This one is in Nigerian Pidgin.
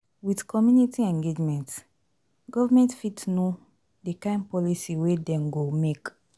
With community engagement, government fit know di kind policy wey dem go make